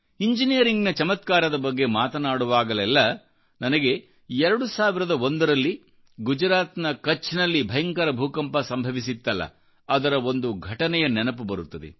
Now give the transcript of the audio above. ಇಂಜಿನಿಯರಿಂಗ್ನ ಚಮತ್ಕಾರದ ಬಗ್ಗೆ ಮಾತನಾಡುವಾಗಲೆಲ್ಲಾ ನನಗೆ 2001ರಲ್ಲಿ ಗುಜರಾತ್ನ ಕಛ್ನಲ್ಲಿ ಭಯಂಕರ ಭೂಕಂಪ ಸಂಭವಿಸಿತ್ತಲ್ಲ ಅದರಒಂದು ಘಟನೆಯ ನೆನೆಪು ಬರುತ್ತದೆ